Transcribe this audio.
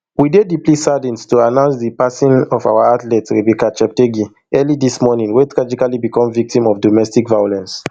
we dey deeply saddened to announce di passing of our athlete rebecca cheptegei early dis morning wey tragically become victim to domestic violence